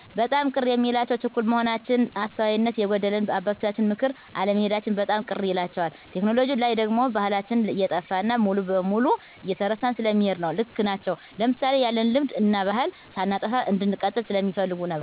በጣም ቅር የሚላቸው ችኩል መሆናችን፣ አስተዋይነት የጎደለንና በአባቶቻችን ምክር አለመሔዳችን በጣም ቅር ይላቸዋል። ቴክኖሎጅው ላይ ደግሞ ባሕላችን እየጠፋ እና ሙሉ በሙሉ እየተረሳ ስለሚሔድ ነው። ልክ ናቸው ለምሣሌ፣ ያለንን ልምድ እናባሕል ሳናጠፋ እንድንቀጥል ስለሚፈልጉ ነው።